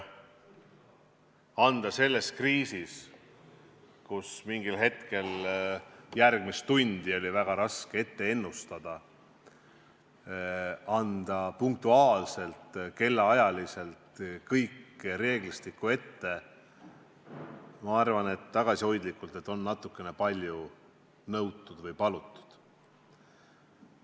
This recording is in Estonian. Anda selles kriisis, kus mingil hetkel oli väga raske ennustada järgmist tundi, punktuaalselt ja kellaajaliselt reeglistik ette – ma arvan tagasihoidlikult, et seda on natuke palju nõutud või palutud.